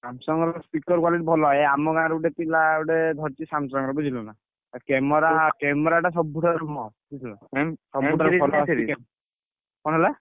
Samsung ର speaker quality ଭଲ। ଏଇ ଆମ ଗାଁର ଗୋଟେ ପିଲା ଗୋଟେ ପିଲା ଧରିଛି Samsung ର ବୁଝିଲୁନା। camera camera ଟା ସବୁଠାରୁ କଣ ହେଲା?